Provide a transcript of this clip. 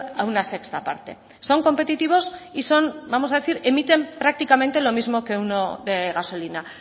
a una sexta parte son competitivos y son vamos a decir emiten prácticamente lo mismo que uno de gasolina